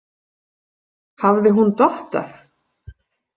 Hafði hún dottað?